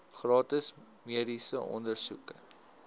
gratis mediese ondersoeke